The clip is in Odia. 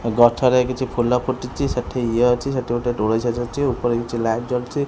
ଏଗଛରେ କିଛି ଫୁଲ ଫୁଟିଚି ସେଠି ଇଏ ଅଛି ସେଠି ଗୋଟେ ଦୋଳି ଝୁଲୁଚି ଉପରେ କିଛି ଲାଇଟ୍ ଜଳୁଛି।